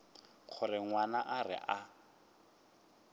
gore ngwana a re a